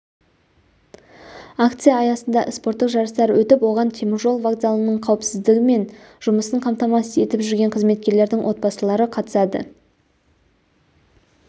акция аясында спорттық жарыстар өтіп оған темір жол вокзалыныңқауіпсіздігі мен жұмысын қамтамасыз етіп жүргенқызметкерлердің отбасылары қатысады